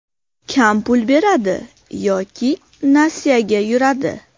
Kam pul beradi yoki nasiyaga yuradi.